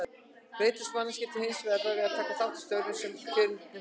Breytast manneskjur til hins verra við að taka þátt í störfum sem kjörnir fulltrúar?